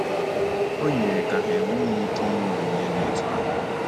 O yiri ka ha enweghị ike inye onyinye dị otú ahụ.